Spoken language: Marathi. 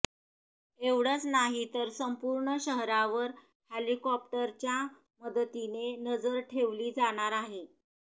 एवढचं नाहीतर संपूर्ण शहरावर हेलिकॉप्टरच्या मदतीने नजर ठेवली जाणार आहे